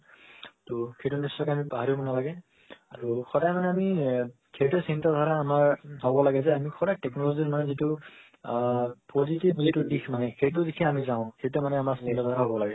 তো সেটো নিশ্চয়কে আমি পাহৰিব নালাগে আৰু সদায় মানে আমি সেইটো চিন্তা ধাৰা আমাৰ হব লাগে যে আমি সদায় technology ৰ মানে যেটো আ positive related দিশ মানে সেটো দিশে আমি যাও সেইটো মানে আমাৰ চিন্তা ধাৰা হব লাগে